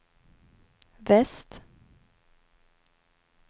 väst